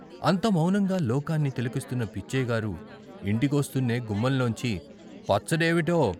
అంత మౌనంగా లోకాన్ని తిలకిస్తున్న పిచ్చయ్యగారు ఇంటికొస్తూనే గుమ్మంలోంచి పచ్చడేవిటో?